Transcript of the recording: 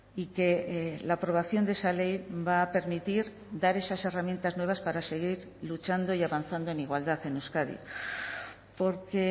y que la aprobación de esa ley va a permitir dar esas herramientas nuevas para seguir luchando y avanzando en igualdad en euskadi porque